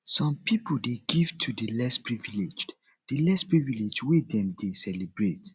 some pipo de give to di less privileged di less privileged when dem de celebrate